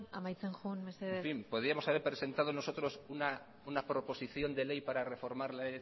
amaitzen joan mesedez haber presentado nosotros una proposición de ley para reformar la